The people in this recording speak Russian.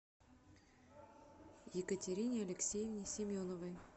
екатерине алексеевне семеновой